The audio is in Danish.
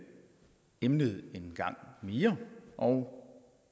emnet en gang mere og